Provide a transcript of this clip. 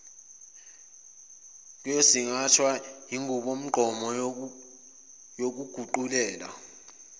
kuyosingathwa yinqubomgomo yokuguqulela